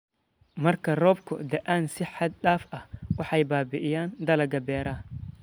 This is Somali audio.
Marka roobabku da'aan si xad-dhaaf ah, waxay baabi'iyaan dalagga beeraha.